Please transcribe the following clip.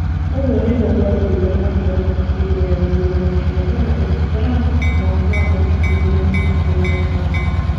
Ũguo nĩguo gwathire na mbere hĩndĩ ya gĩthurano kĩa Donald Trump mwaka wa ngiri igĩrĩ na ikũmi na ithano.